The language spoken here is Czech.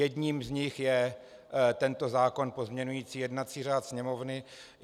Jedním z nich je tento zákon pozměňující jednací řád Sněmovny.